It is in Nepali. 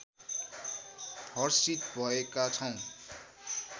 हर्षित भएका छौँ